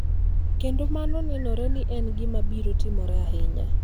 Kendo mano nenore ni en gima biro timore ahinya.